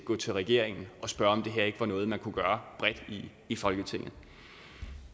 gå til regeringen og spørge om det her ikke var noget man kunne gøre bredt i folketinget